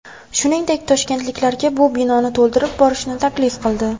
Shungdek, toshkentliklarga bu binoni to‘ldirib borishni taklif qildi.